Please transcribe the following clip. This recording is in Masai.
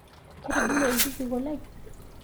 Ketigile lkijiko lai